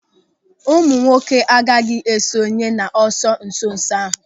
Ụmụnwoke agaghị esonye n'ọsọ nsonso ahụ.